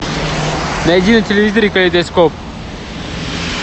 найди на телевизоре калейдоскоп